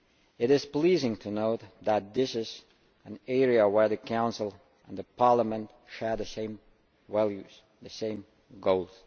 It is pleasing to note that this is an area where the Council and Parliament share the same values, the same goals.